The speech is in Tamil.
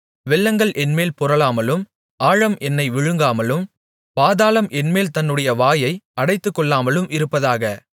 வெள்ளங்கள் என்மேல் புரளாமலும் ஆழம் என்னை விழுங்காமலும் பாதாளம் என்மேல் தன்னுடைய வாயை அடைத்துக்கொள்ளாமலும் இருப்பதாக